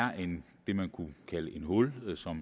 det man kunne kalde et hul